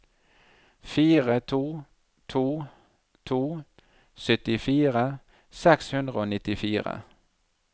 fire to to to syttifire seks hundre og nittifire